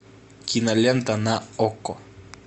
кинолента на окко